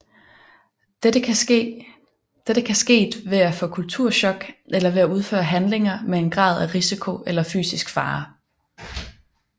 Dette kan sket ved at få kulturchok eller ved at udføre handlinger med en grad af risiko eller fysisk fare